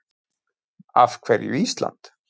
Af hverju Ísland?